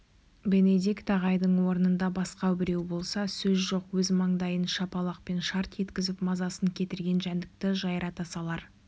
бенедикт ағайдың орнында басқа біреу болса сөз жоқ өз маңдайын шапалақпен шарт еткізіп мазасын кетірген жәндікті жайрата салар